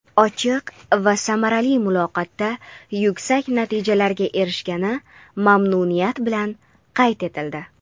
ochiq va samarali muloqotda yuksak natijalarga erishilgani mamnuniyat bilan qayd etildi.